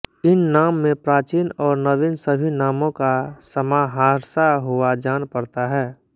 इन नाम में प्राचीन और नवीन सभी नामों का समाहारसा हुआ जान पड़ता है